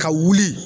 Ka wuli